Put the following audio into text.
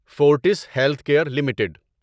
forts health care limited